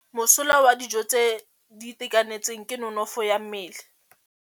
Mosola wa dijô tse di itekanetseng ke nonôfô ya mmele.